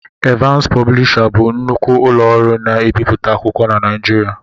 Evans Pọblisha bụ nnukwu ụlọ ọrụ na-ebiputa akwụkwọ na Naijiriia